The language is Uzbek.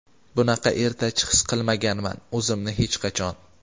Bunaqa ertachi his qilmaganman o‘zimni hech qachon .